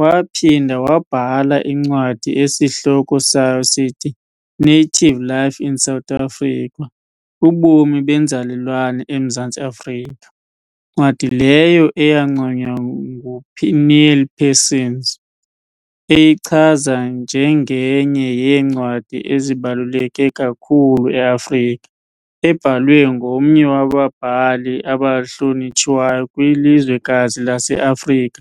Waaphinda wabhala incwadi esihloko sayo sithi"Native Life in South Africa - Ubomi benzalelwane emZantsi Afrika", ncwadi leyo eyanconywa nguNeil Parsons, eyichaza njenge"nye yeencwadi ezibaluleke kakhulu eAfrika, ebhalwe ngomnye wababhali abahlonitshwayo kwilizwekazi laseAfrika",